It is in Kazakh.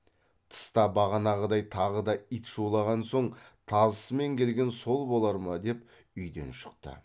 тыста бағанағыдай тағы да ит шулаған соң тазысымен келген сол болар ма деп үйден шықты